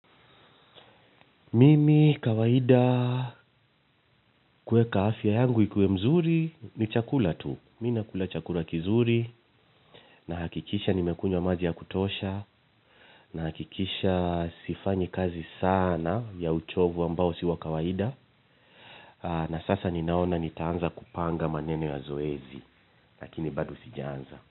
Mimi kawaida kuweka afya yangu ikuwe mzuri ni chakula tu. Mi nakula chakula kizuri. Nahakikisha nimekunywa maji ya kutosha. Nahakikisha sifanyi kazi sana ya uchovu ambao si wa kawaida. Na sasa ninaona nitaanza kupanga maneno ya zoezi. Lakini bado sijaanza.